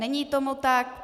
Není tomu tak.